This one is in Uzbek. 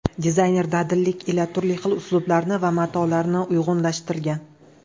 Dizayner dadillik ila turli xil uslublarni va matolarni uyg‘unlashtirgan.